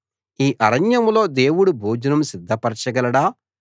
ఈ అరణ్యంలో దేవుడు భోజనం సిద్ధపరచగలడా